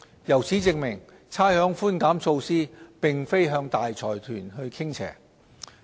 由此證明，差餉寬減措施並非向大財團傾斜。